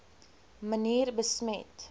manier besmet